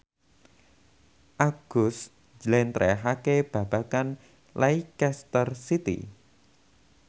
Agus njlentrehake babagan Leicester City